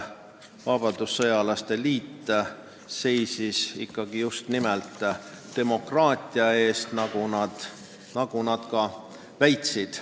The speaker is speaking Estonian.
Vabadussõjalaste liit seisis just nimelt demokraatia eest, nagu nad kinnitasid.